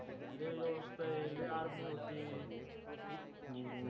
लय व्यवस्था आहे लय army होती